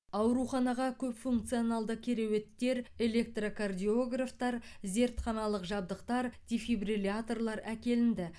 ауруханаға көпфункционалды кереуеттер электрокардиографтар зертханалық жабдықтар дефибрилляторлар әкелінді